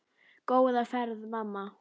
Góða ferð mamma.